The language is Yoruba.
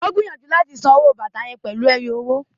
O gbìyànjú láti sanwó fún àwọn bàtà yén pèlú ẹyọ owó